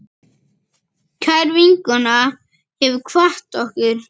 Kær vinkona hefur kvatt okkur.